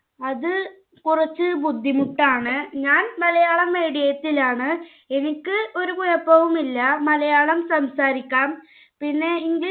അത് കുറച്ചു ബുദ്ധിമുട്ടാണ്. ഞാൻ Malayalam medium ലാണ്. എനിക്ക് ഒരു കുഴപ്പവുമില്ല. മലയാളം സംസാരിക്കാം. പിന്നെ English